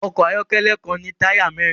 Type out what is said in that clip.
Ọkọ̀ ayọ́kẹ́lẹ́ kan ní táyà mẹ́rin